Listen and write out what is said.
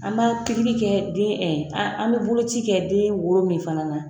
An b'a kɛ den an bɛ boloci kɛ den woro min fana na.